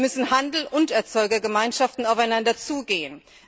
Hier müssen Handel und Erzeugergemeinschaften aufeinander zugehen.